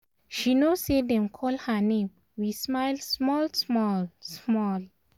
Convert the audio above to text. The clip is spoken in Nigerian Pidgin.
she know say dem call her name we smile small small small